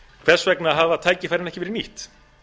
hvers vegna hafa tækifærin ekki verið nýtt